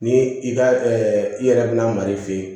Ni i ka i yɛrɛ bɛna mar'i fe yen